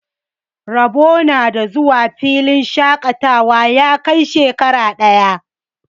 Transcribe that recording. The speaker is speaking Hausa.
Rabo na da zuwa filin shaƙatawa ya kai shekara ɗaya.